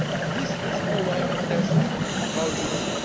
This is, in a way, a test of our Union.